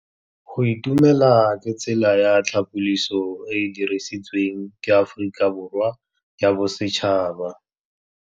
Go itumela ke tsela ya tlhapolisô e e dirisitsweng ke Aforika Borwa ya Bosetšhaba.